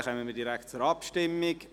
Dann kommen wir direkt zur Abstimmung.